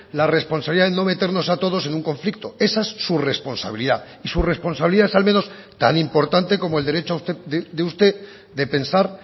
la responsabilidad de no meternos a todos en un conflicto esa es su responsabilidad y su responsabilidad es al menos es tan importante como el derecho de usted de pensar